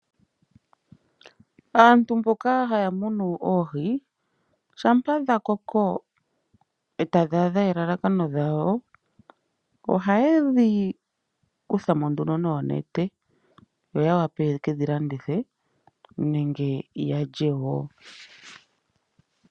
Aantu mboka haya munu oohi shampa dhakoko , eta dhaadha elalakano dhayo ohaye dhi kuthamo nduno noonete yo yawape yeke dhilandithe nenge yalye woo.